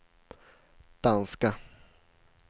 danska